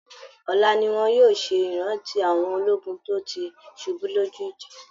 Ọla ni wọn yóò ṣe ìrántí àwọn ológun tó ti ṣubú lójú ìjà